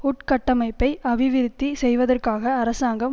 உட்கட்டமைப்பை அபிவிருத்தி செய்வதற்காக அரசாங்கம்